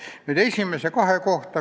Paar sõna esimese kahe kohta.